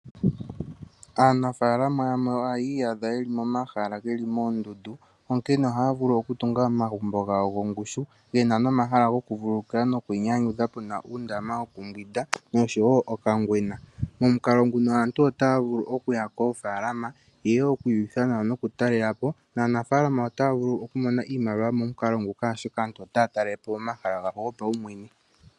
Aanafalama yamwe ohaya iyadha ye li momahala ge li moondundu. Onkene ohaya vulu okutunga omagumbo gawo gongushu ge na nomahala gokuvulukilwa nogokwiinyanyudha pe na nuundama wokumbwinda noshowo okangwena. Momukalo nguno aantu otaa vulu okuya koofalama ye ye okwiiyutha nawa nokutalela po. Naanafaalama otaya vulu okumona iimaliwa momukalo nguka, oshoka aantu otaya talele po omahala gawo gopaumwene.